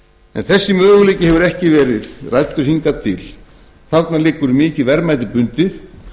en þessi möguleiki hefur ekki verið ræddur hingað til þarna liggur mikið verðmæti bundið